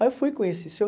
Aí eu fui conhecer o seu